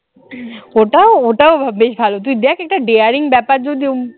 ওটা ওটাও বেশ ভালো তুই দেখ একটা daring ব্যাপার যদিও